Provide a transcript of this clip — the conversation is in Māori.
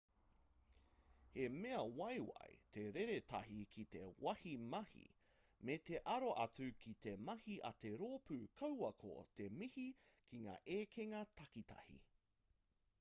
he mea waiwai te reretahi ki te wāhi mahi me te aro atu ki te mahi a te rōpū kaua ko te mihi ki ngā ekenga takitahi